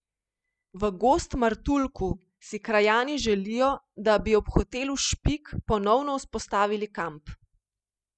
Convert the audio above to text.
V Gozd Martuljku si krajani želijo, da bi ob hotelu Špik ponovno vzpostavili kamp.